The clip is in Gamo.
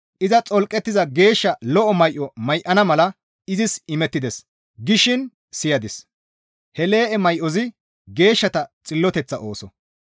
Iza xolqettiza geeshsha lo7o may7o may7ana mala izis imettides» gishin siyadis; he lee7e may7ozi geeshshata xilloteththa ooso.